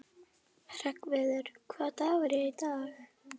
Hreggviður, hvaða dagur er í dag?